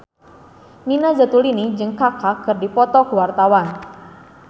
Nina Zatulini jeung Kaka keur dipoto ku wartawan